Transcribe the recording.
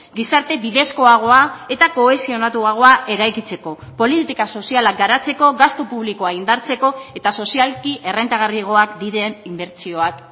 gizarte bidezkoagoa eta kohesionatuagoa eraikitzeko politika sozialak garatzeko gastu publikoa indartzeko eta sozialki errentagarriagoak diren inbertsioak